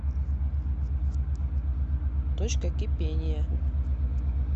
точка кипения